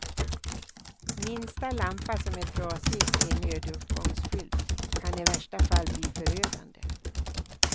Minsta lampa som är trasig i en nödutgångsskylt kan i värsta fall bli förödande.